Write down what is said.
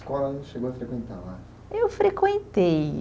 A escola não chegou a frequentar lá? Eu frequentei